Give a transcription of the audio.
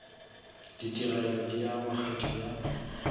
ditigelo di ama kgetho ya